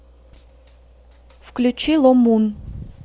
включи ло мун